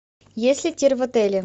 есть ли тир в отеле